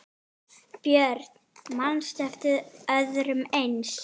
Björn: Manstu eftir öðru eins?